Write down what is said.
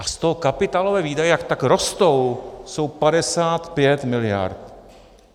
A z toho kapitálové výdaje, jak tak rostou, jsou 55 mld.